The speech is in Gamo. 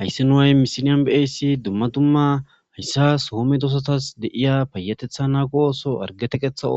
Hayssi haii nu hamissilezzan be'ssi somedossatapayattetha nago osso harge teqqetha